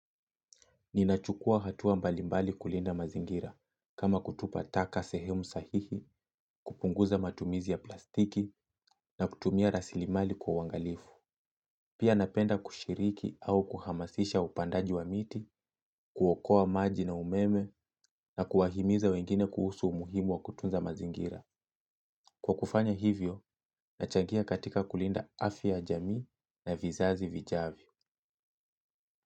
Ninachukua hatua mbalimbali kulinda mazingira, kama kutupa taka sehemu sahihi, kupunguza matumizi ya plastiki, na kutumia rasilimali kwa uangalifu. Pia napenda kushiriki au kuhamasisha upandaji wa miti, kuokoa maji na umeme, na kuwahimiza wengine kuhusu umuhimu wa kutunza mazingira. Kwa kufanya hivyo, nachangia katika kulinda afya ya jamii na vizazi vijavyo.